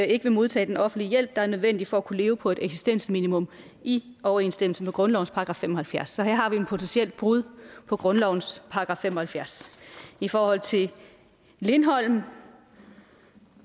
ikke vil modtage den offentlige hjælp der er nødvendig for at kunne leve på et eksistensminimum i overensstemmelse med grundlovens § fem og halvfjerds så her har vi et potentielt brud på grundlovens § fem og halvfjerds i forhold til lindholm